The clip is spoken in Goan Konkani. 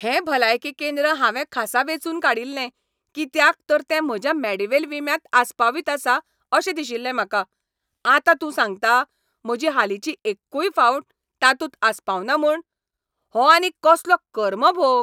हें भलायकी केंद्र हांवें खासा वेंचून काडिल्लें, कित्याक तर तें म्हज्या मेडीवेल विम्यांत आसपावीत आसा अशें दिशिल्लें म्हाका. आतां तूं सांगता म्हजी हालींची एक्कूय फावट तातूंत आसपावना म्हूण? हो आनीक कसलो कर्मभोग!